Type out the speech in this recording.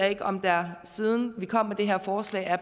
ikke om der siden vi kom med det her forslag er